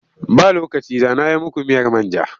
Ba lokaci da na yi muku miyar man ja.